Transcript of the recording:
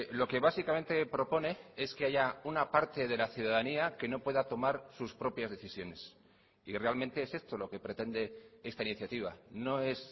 lo que básicamente propone es que haya una parte de la ciudadanía que no pueda tomar sus propias decisiones y realmente es esto lo que pretende esta iniciativa no es